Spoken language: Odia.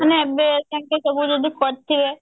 ମାନେ ଏବେ ଯଦି ତାଙ୍କର ସବୁ କରିଥିବେ